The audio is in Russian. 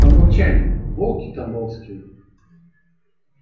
тамбовчане волки тамбовские